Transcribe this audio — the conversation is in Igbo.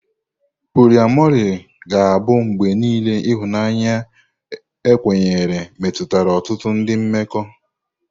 Poliamori ga-abụ mgbe niile ihunanya ekwenyere metụtara ọtụtụ ndị mmekọ.